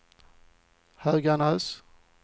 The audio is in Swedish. Höganäs